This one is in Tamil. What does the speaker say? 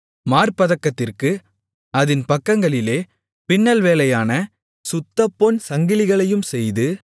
மார்ப்பதக்கத்திற்கு அதின் பக்கங்களிலே பின்னல் வேலையான சுத்தப்பொன் சங்கிலிகளையும் செய்து